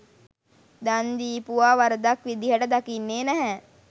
දන් දීපුවා වරදක් විදිහට දකින්නේ නැහැ.